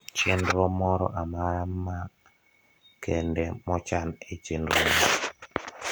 chenro moro amara ma kende mo chan e chenrona